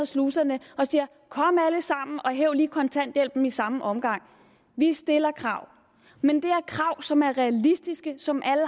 sluserne og siger kom alle sammen og hæv lige kontanthjælp i samme omgang vi stiller krav men det er krav som er realistiske som alle